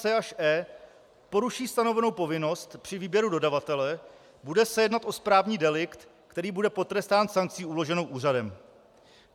c) až e) poruší stanovenou povinnost při výběru dodavatele, bude se jednat o správní delikt, který bude potrestán sankcí uloženou úřadem.